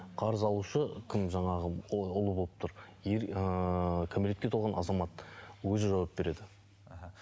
қарыз алушы кім жаңағы ұлы болып тұр ыыы кәмелетке толған азамат өзі жауап береді аха